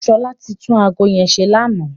Ṣọlá ti tún ago yẹn ṣe lánàá.